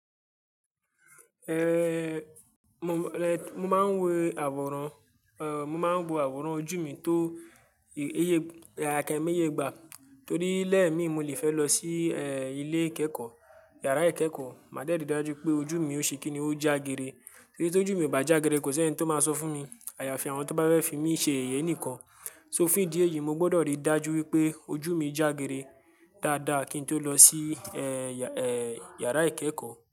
Eh, mo máa ń wo àwòrán, eh, mo máa ń wo àwòrán ojú mi tó èyí, akemíyé gbà, torí lẹ́ẹ̀ mi mo lè fẹ́ lọ sí, eh, ilé ìkẹ́kọ̀ọ́, yàrá ìkẹ́kọ̀ọ́, màá dẹ̀rídàjú pé ojú mi ò ṣe kíni ó jágere. Torí tí ojú mi ò bá jágere kò sí ẹní tó máa sọ fún mi àyàfi àwọn tó bá fẹ́ fi mí ṣe yèyẹ nìkan. So fún ìdí èyí mo gbọ́dọ̀ rí dájú wípé ojú mi jágere dáadáa kí n tó lọ sí, eh, yàrá ìkẹ́kọ̀ọ́